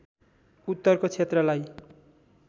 उत्तरको क्षेत्रलाई